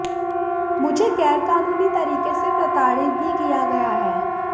मुझे गैर कानूनी तरीके से प्रताड़ित भी किया है